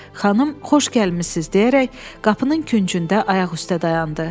Xanım xoş gəlmisiniz deyərək qapının küncündə ayaq üstə dayandı.